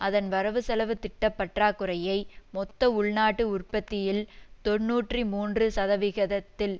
அதன் வரவுசெலவு திட்ட பற்றாக்குறையை மொத்த உள்நாட்டு உற்பத்தியில் தொன்னூற்றி மூன்று சதவிகிதத்தில்